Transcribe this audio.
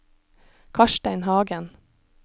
Karstein Hagen